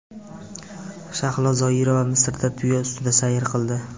Shahlo Zoirova Misrda tuya ustida sayr qildi.